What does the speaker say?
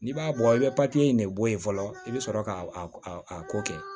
N'i b'a bɔ i bɛ in de bɔ yen fɔlɔ i bɛ sɔrɔ ka a ko kɛ